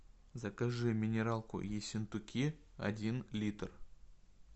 закажи минералку ессентуки один литр